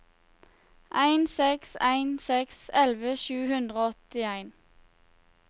en seks en seks elleve sju hundre og åttien